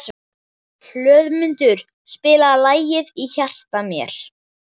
Hlöðmundur, spilaðu lagið „Í hjarta mér“.